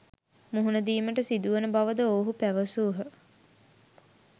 මුහුණදීමට සිදුවන බවද ඔවුහු පැවසූහ